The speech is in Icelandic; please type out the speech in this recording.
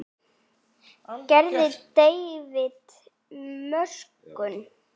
Gerði David mistök?